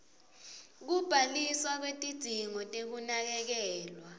kubhaliswa kwetidzingo tekunakekelwa